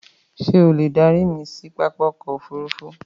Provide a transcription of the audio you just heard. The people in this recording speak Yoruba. Ṣé o lè darí mi sí pápá ọkọ̀ òfurufú?